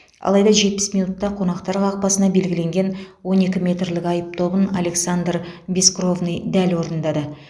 алайда жетпіс минутта қонақтар қақпасына белгіленген он екі метрлік айып добын александр бескровный дәл орындады